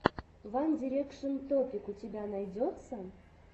ван дирекшен топик у тебя найдется